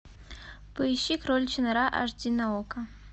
поищи кроличья нора аш ди на окко